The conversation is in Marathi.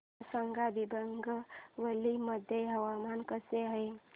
मला सांगा दिबांग व्हॅली मध्ये हवामान कसे आहे